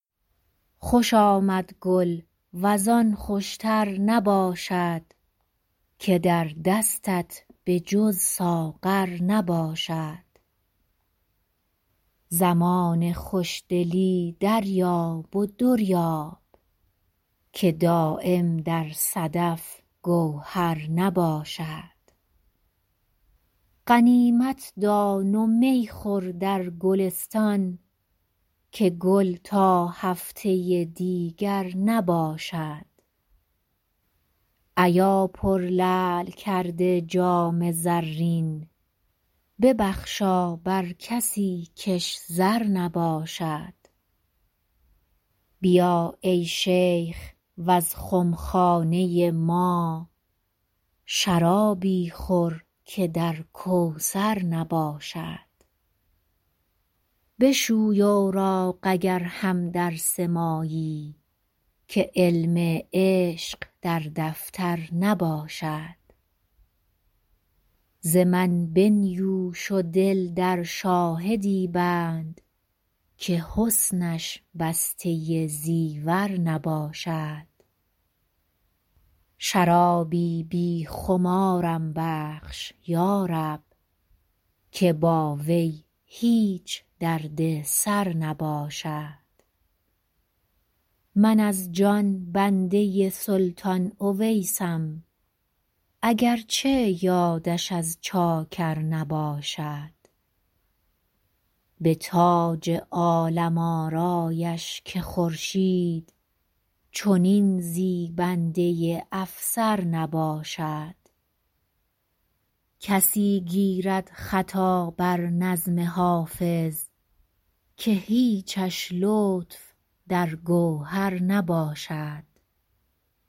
خوش آمد گل وز آن خوش تر نباشد که در دستت به جز ساغر نباشد زمان خوش دلی دریاب و در یاب که دایم در صدف گوهر نباشد غنیمت دان و می خور در گلستان که گل تا هفته دیگر نباشد ایا پرلعل کرده جام زرین ببخشا بر کسی کش زر نباشد بیا ای شیخ و از خم خانه ما شرابی خور که در کوثر نباشد بشوی اوراق اگر هم درس مایی که علم عشق در دفتر نباشد ز من بنیوش و دل در شاهدی بند که حسنش بسته زیور نباشد شرابی بی خمارم بخش یا رب که با وی هیچ درد سر نباشد من از جان بنده سلطان اویسم اگر چه یادش از چاکر نباشد به تاج عالم آرایش که خورشید چنین زیبنده افسر نباشد کسی گیرد خطا بر نظم حافظ که هیچش لطف در گوهر نباشد